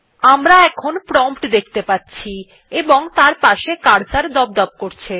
আমরা এখন প্রম্পট দেখতে পাচ্ছি এবং তার পাশে একটি কার্সর দপদপ করছে